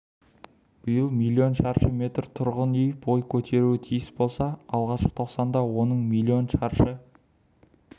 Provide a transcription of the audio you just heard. биыл миллион шаршы метр тұрғын үй бой көтеруі тиіс болса алғашқы тоқсанда оның миллион шаршы